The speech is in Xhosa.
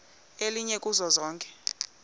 elinye kuzo zonke